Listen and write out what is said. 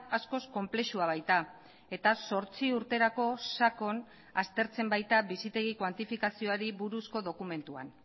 askoz konplexua baita eta zortzi urterako sakon aztertzen baita bizitegi kuantifikazioari buruzko dokumentuan